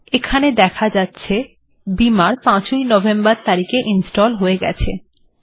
এখানে দেখা যাচ্ছে বিমার্ ৫ ই নভেম্বর তারিখে ইনস্টল্ হয়ে গেছে